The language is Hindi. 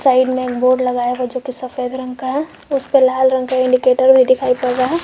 साइड में एक बोर्ड लगाया हुआ जो कि सफेद रंग का है उसपर लाल रंग का इंडीकेटर भी दिखाई पड़ रहा है।